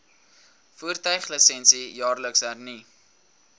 voertuiglisensie jaarliks hernu